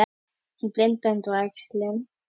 En blindan var æxli.